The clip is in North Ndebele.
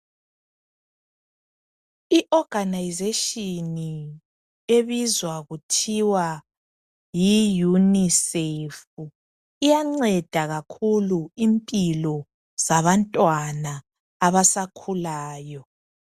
I organisation ebizwa kuthiwa yi UNICEF iyanceda kakhulu impilo zabantwana abasakhulayo.